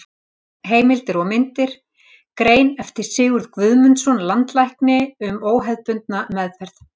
Heimildir og myndir: Grein eftir Sigurð Guðmundsson, landlækni, um óhefðbundna meðferð.